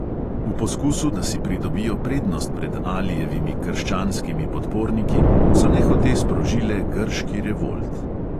V poskusu, da si pridobijo prednost pred alijevimi krščanskimi podporniki, so nehote sprožile grški revolt.